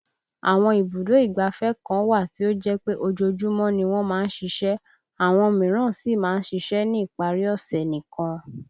Àwọn ibùdó ìgbáfẹ́ kan wà tí ó jẹ́ pé ojoojúmọ́ ni wọ́n máa ń ṣiṣẹ́ àwọn míràn sì máa ń ṣiṣẹ́ ní ìparí ọ̀ṣẹ̀ nìkan